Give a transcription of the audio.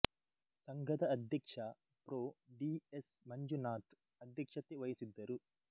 ಸಂಘದ ಅಧ್ಯಕ್ಷ pro D S Manjunath ಅಧ್ಯಕ್ಷತೆ ವಹಿಸಿದ್ದರು